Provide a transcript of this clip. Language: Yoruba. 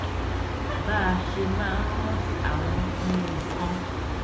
bá a ṣe máa ń rántí àwọn nǹkan